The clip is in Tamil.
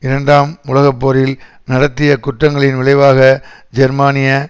இரண்டாம் உலக போரில் நடத்திய குற்றங்களின் விளைவாக ஜெர்மானிய